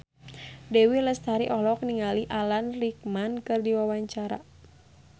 Dewi Lestari olohok ningali Alan Rickman keur diwawancara